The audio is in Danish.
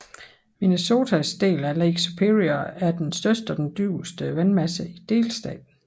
Minnesotas del af Lake Superior er den største og dybeste vandmasse i delstaten